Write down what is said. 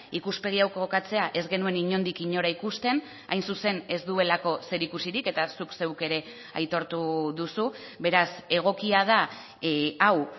ikuspegi hau kokatzea ez genuen inondik inora ikusten hain zuzen ez duelako zerikusirik eta zuk zeuk ere aitortu duzu beraz egokia da hau